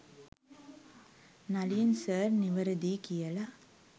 Nalin sir නිවැරදියි කියල.